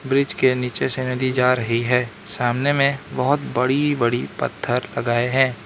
Bridge के नीचे से नदी जा रही है सामने में बहोत बड़ी बड़ी पत्थर लगाए हैं।